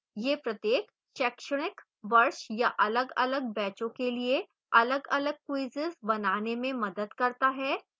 यह प्रत्येक शैक्षणिक वर्ष या अलगअलग बैचों के लिए अलगअलग quizzes बनाने में मदद करता है